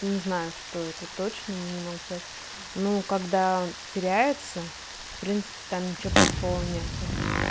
не знаю что это точно ну не могу сказать ну когда теряется в принципе там ничего плохого нет